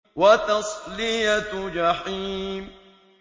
وَتَصْلِيَةُ جَحِيمٍ